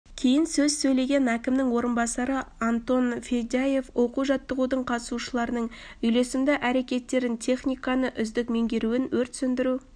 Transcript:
кейін сөз сөйлеген әкімінің орынбасары антон федяев оқу-жаттығудың қатысушыларының үйлесімді әрекеттерін техниканы үздік меңгеруін өрт сөндіру